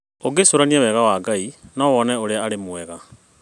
ũngĩĩcũrania wega wa Ngai no wone ũrĩa arĩ mwega